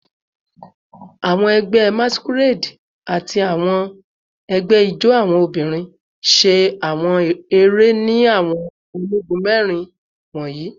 Awọn ẹgbẹ Masquerade ati awọn ẹgbẹ ijó awọn obinrin ṣe awọn ere ni awọn onigun mẹrin wọnyi